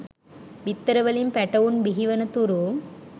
බිත්තර වලින් පැටවුන් බිහිවනතුරු